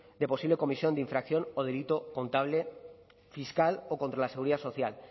de posible comisión de infracción o delito contable fiscal o contra la seguridad social